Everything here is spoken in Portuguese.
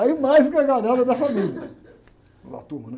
Aí, mais gargalhada da família, ou da turma, né?